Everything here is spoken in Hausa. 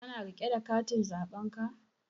Ka na riƙe da katin zaɓen ka?